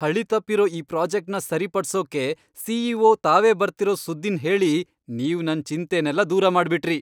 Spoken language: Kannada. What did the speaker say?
ಹಳಿತಪ್ಪಿರೋ ಈ ಪ್ರಾಜೆಕ್ಟ್ನ ಸರಿಪಡ್ಸೋಕೆ ಸಿ.ಇ.ಒ. ತಾವೇ ಬರ್ತಿರೋ ಸುದ್ದಿನ್ ಹೇಳಿ ನೀವ್ ನನ್ ಚಿಂತೆನೆಲ್ಲ ದೂರ ಮಾಡ್ಬಿಟ್ರಿ!